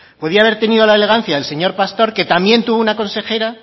podía haber tenido la elegancia del señor pastor que también tuvo una consejera